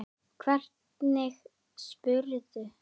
Hvernig spyrðu!